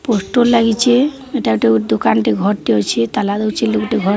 Auto ଲାଗିଚି। ଏଟା ଗୁଟେ ଦୁକାଟେ ଘରଟେ ଅଛି। ତାଲା ଦଉଚି ଲୁକଟେ ଘର --